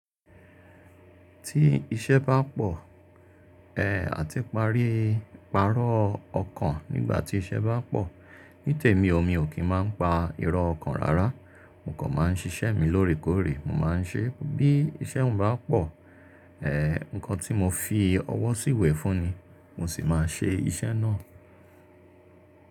Tí iṣẹ́ bá pọ̀, eh àti parí, pàrọ̀ ọkàn nígbà tí iṣẹ́ bá pọ̀. Ní tèmi o, mi ò kí máa ń pa irọ́ ọkàn rárá, mo kàn máa ń ṣiṣẹ́ mi lóòrèkóòrè. Mo máa ń ṣe bí iṣẹ́ mi bá pọ̀, eh nǹkan tí mo fi ọwọ́ sí ìwé fún ni, mo sì máa ṣe iṣẹ́ náà.